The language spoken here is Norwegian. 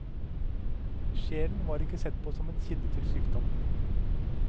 Sjelen var ikke sett på som en kilde til sykdom.